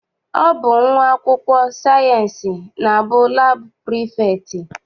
Ọ bụ nwa akwụkwọ sayịensị na-abụ laabụ prefektị.